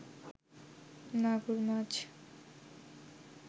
মাগুর মাছ